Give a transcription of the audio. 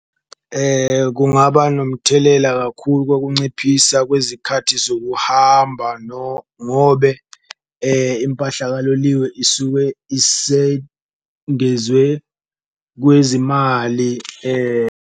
Kungaba nomthelela kakhulu kokunciphisa kwezikhathi zokuhamba ngobe impahla kaloliwe isuke isengezwe kwezimali .